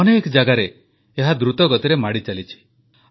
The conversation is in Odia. ଅନେକ ଜାଗାରେ ଏହା ଦ୍ରୁତଗତିରେ ମାଡ଼ିଚାଲିଛି